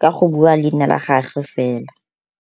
ka go bua leina la gage fela.